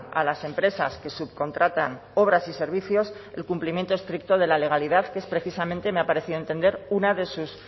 a las empresas que subcontratan obras y servicios el cumplimiento estricto de la legalidad que es precisamente me ha parecido entender una de sus